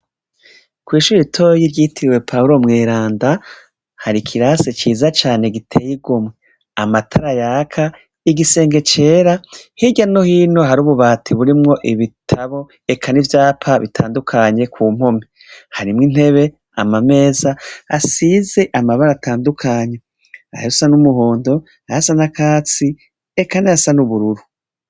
Kw'ishuri itoro y'iryitiriwe pahulo mwiranda hari ikirasi ciza cane giteye igo mwe amatara yaka igisenge cera hirya no hino hari ububati burimwo ibitabo eka n'ivyapa bitandukanye ku mpomi harimwo intebe amameza asize amabara atandukanye aha rosa n'umuhondo ahasanakatsi ekana ha san'ubururu.